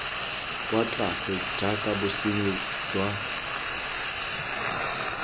kwa tlase jaaka bosenyi jwa